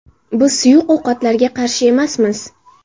Biz suyuq ovqatlarga qarshi emasmiz.